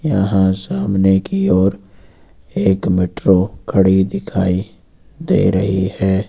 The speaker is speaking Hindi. यहां सामने की ओर एक मेट्रो खड़ी दिखाई दे रही है।